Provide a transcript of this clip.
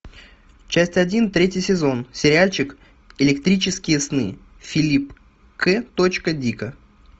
часть один третий сезон сериальчик электрические сны филипп к точка дика